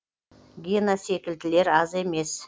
гена секілділер аз емес